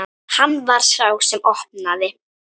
Hann var sá sem opnaði.